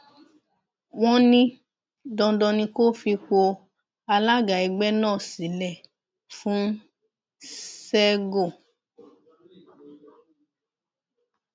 wọn ní dandan ni kó fipò alága ẹgbẹ náà sílẹ fún sẹgò